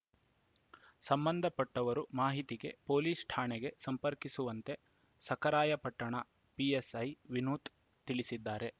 ಸಂಬಂಧಪಟ್ಟವರು ಮಾಹಿತಿಗೆ ಪೊಲೀಸ್‌ ಠಾಣೆಗೆ ಸಂಪರ್ಕಿಸುವಂತೆ ಸಖರಾಯಪಟ್ಟಣ ಪಿಎಸ್‌ಐ ವಿನುತ್‌ ತಿಳಿಸಿದ್ದಾರೆ